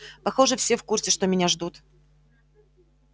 похоже все в курсе что меня ждут